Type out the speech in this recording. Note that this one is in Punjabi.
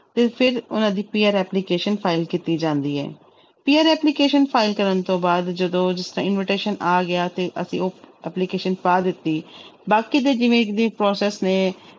ਤੇ ਫਿਰ ਉਹਨਾਂ ਦੀ PR application file ਕੀਤੀ ਜਾਂਦੀ ਹੈ PR application file ਕਰਨ ਤੋਂ ਬਾਅਦ ਜਦੋਂ invitation ਆ ਗਿਆ ਤੇ ਅਸੀਂ ਉਹ application ਪਾ ਦਿੱਤੀ ਬਾਕੀ ਦੇ ਜਿਵੇਂ ਦੇ process ਨੇ